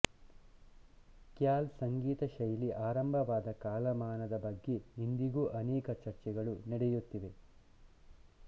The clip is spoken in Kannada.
ಖ್ಯಾಲ್ ಸಂಗೀತ ಶೈಲಿ ಆರಂಭವಾದ ಕಾಲಮಾನದ ಬಗ್ಗೆ ಇಂದಿಗೂ ಅನೇಕ ಚರ್ಚೆಗಳು ನಡೆಯುತ್ತಿವೆ